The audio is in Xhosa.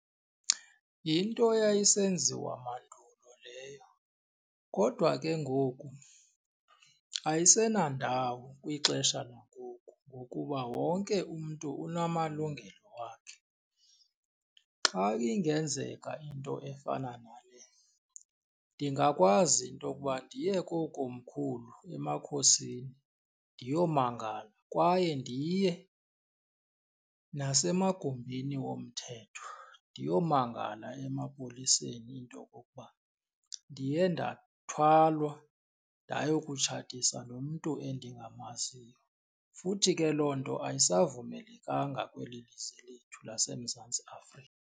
einto Eyayisenziwa mandulo leyo, kodwa ke ngoku ayisenandawo kwixesha langoku ngokuba wonke umntu unamalungelo wakhe. Xa ingenzeka into efana nale ndingakwazi into yokuba ndiye kookomkhulu emakhosini ndiyomangala kwaye ndiye nasemagumbini womthetho ndiyomangala emapoliseni into yokokuba ndiye ndathwalwa ndayokutshatiswa nomntu endingamaziyo. Futhi ke loo nto ayisavumelekanga kweli lizwe lethu laseMzantsi Afrika.